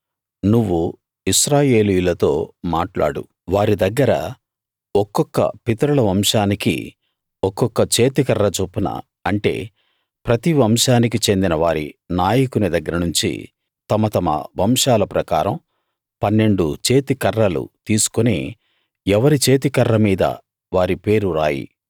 నువ్వు ఇశ్రాయేలీయులతో మాట్లాడు వారి దగ్గర ఒక్కొక్క పితరుల వంశానికి ఒక్కొక్క చేతికర్ర చొప్పున అంటే ప్రతి వంశానికి చెందిన వారి నాయకుని దగ్గరనుంచి తమ తమ వంశాల ప్రకారం 12 చేతికర్రలు తీసుకుని ఎవరి చేతికర్ర మీద వారి పేరు రాయి